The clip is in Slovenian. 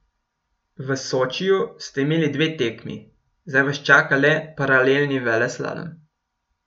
V Sočiju ste imeli dve tekmi, zdaj vas čaka le paralelni veleslalom.